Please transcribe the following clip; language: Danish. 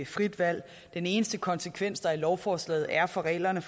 frit valg den eneste konsekvens der i lovforslaget er for reglerne